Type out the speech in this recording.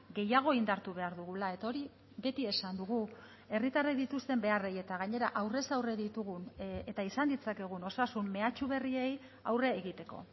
gehiago indartu behar dugula eta hori beti esan dugu herritarrek dituzten beharrei eta gainera aurrez aurre ditugun eta izan ditzakegun osasun mehatxu berriei aurre egiteko